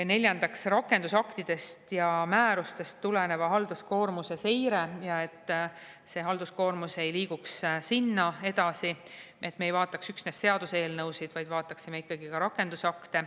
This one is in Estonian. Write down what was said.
Neljandaks, rakendusaktidest ja määrustest tuleneva halduskoormuse seire, et halduskoormus ei liiguks sinna edasi, et me ei vaataks üksnes seaduseelnõusid, vaid vaataksime ikkagi ka rakendusakte.